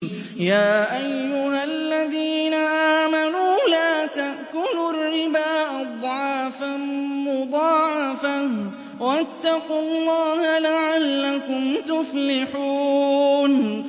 يَا أَيُّهَا الَّذِينَ آمَنُوا لَا تَأْكُلُوا الرِّبَا أَضْعَافًا مُّضَاعَفَةً ۖ وَاتَّقُوا اللَّهَ لَعَلَّكُمْ تُفْلِحُونَ